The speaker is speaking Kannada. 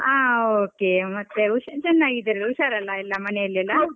ಹಾ okay ಮತ್ತೆ ಉಷಾ~ ಚನ್ನಾಗಿದ್ದಿರಲ್ಲ ಉಷಾರಲ್ಲ ಎಲ್ಲ ಮನೇಲಿ ಎಲ್ಲ.